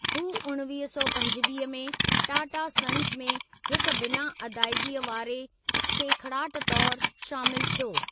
हू उणिवीह सौ पंजवीह में टाटा सन्स में हिक बिना अदाइगीअ वारे सेखड़ाटु तौरु शामिलु थियो।